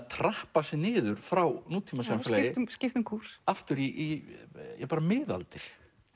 trappa sig niður frá nútímasamfélagi skipta um kúrs aftur í bara miðaldir